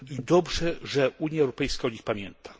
Dobrze, że Unia Europejska o nich pamięta.